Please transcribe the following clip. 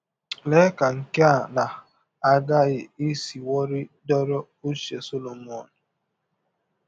Lee ka nke a na - aghaghị isiwọrị dọrọ ụche Solomọn!